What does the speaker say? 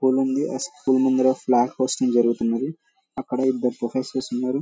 School ఉంది. అ school ముందర ఫ్లాగ్ హోస్టింగ్ జరుగుతుంది. అక్కడ ఇద్దరు ప్రొఫెసర్ ఉన్నారు.